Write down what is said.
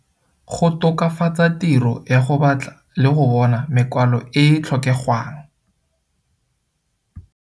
Go tokafatsa tiro ya go batla le go bona mekwalo e e tlhokegwang.